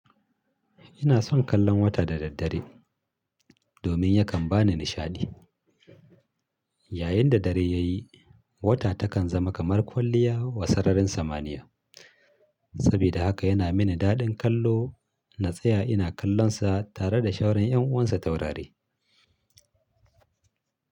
Ina son kallon wata da daddare domin yakan ba ni nishaɗi. Yayin da dare ya yi, wata takan zama kamar kwalliya wa sararin samaniya. Saboda haka yana mini daɗin kallo na tsaya ina kallon sa tare da shaura ƴan uwansa taurari.